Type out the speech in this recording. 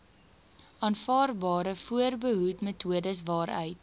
aanvaarbare voorbehoedmetodes waaruit